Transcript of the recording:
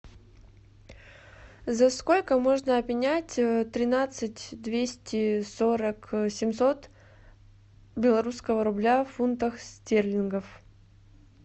за сколько можно обменять тринадцать двести сорок семьсот белорусского рубля в фунтах стерлингов